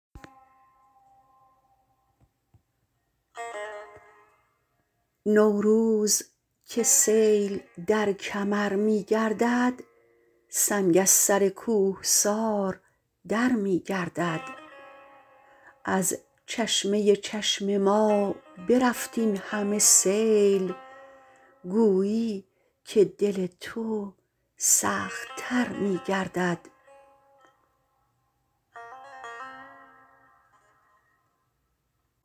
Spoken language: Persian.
نوروز که سیل در کمر می گردد سنگ از سر کوهسار در می گردد از چشمه چشم ما برفت این همه سیل گویی که دل تو سخت تر می گردد